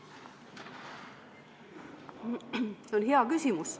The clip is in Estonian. See on hea küsimus.